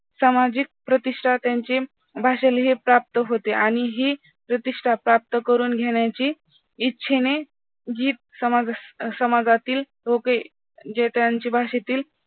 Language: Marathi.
सामाजिक प्रतिष्ठा त्यांच्या भाषेलाही प्राप्त होते आणि ही प्रतिष्ठा प्राप्त करून घेण्याची इच्छेने ही समाजातील लोके जे त्यांचे भाषेतील